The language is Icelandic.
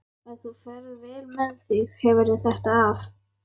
Ef þú ferð vel með þig hefurðu þetta af.